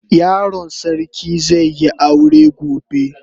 Yaron sarki zai yi aure gobe.